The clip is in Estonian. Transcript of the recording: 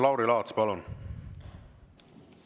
Lauri Laats, palun!